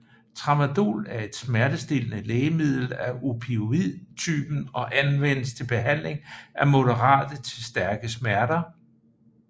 Tramadol er et smertestillende lægemiddel af opioid typen og anvendes til behandling af moderate til stærke smerter